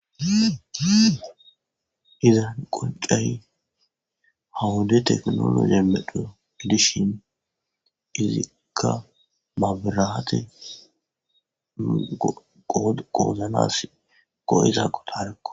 Izan qonc'ay ha wode tekinoloje medho gidishin izika mabrate qodiko odanas go'iza qodhareko.